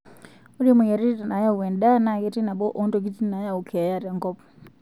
Ore moyiaritin naayau endaa naa ketii nabo oo ntokitin naayau keeya tenkop.